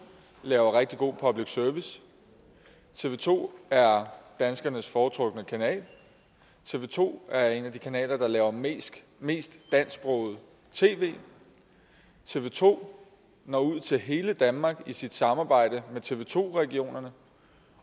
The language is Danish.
laver rigtig god public service tv to er danskernes foretrukne kanal tv to er en af de kanaler der laver mest mest dansksproget tv tv to når ud til hele danmark i sit samarbejde med tv to regionerne